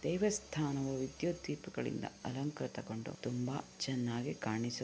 ದೇವಸ್ಥಾನವು ವಿದ್ಯುತ್ ದೀಪಗಳಿಂದ ಅಲಂಕೃತಗೊಂಡು ತುಂಬ ಚೆನ್ನಾಗಿ ಕಾಣಿಸು --